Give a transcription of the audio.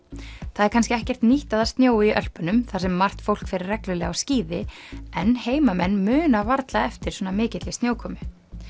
það er kannski ekkert nýtt að það snjói í Ölpunum þar sem margt fólk fer reglulega á skíði en heimamenn muna varla eftir svona mikilli snjókomu